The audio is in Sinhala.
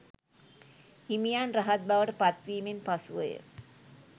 හිමියන් රහත් බවට පත්වීමෙන් පසුවය.